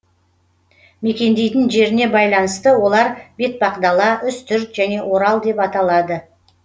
мекендейтін жеріне байланысты олар бетпақдала үстірт және орал деп аталады